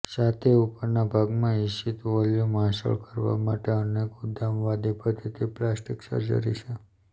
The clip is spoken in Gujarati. છાતી ઉપરના ભાગમાં ઇચ્છિત વોલ્યુમ હાંસલ કરવા માટે અનેક ઉદ્ધામવાદી પદ્ધતિ પ્લાસ્ટિક સર્જરી છે